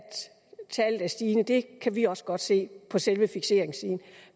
tallet er stigende i det kan vi også godt se